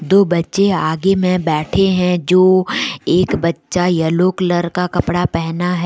दो बच्चे आगे में बैठे है जो एक बच्चा येलो कलर का कपड़ा पहना है।